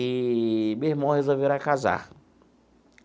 Eee meu irmão resolveu ir lá casar.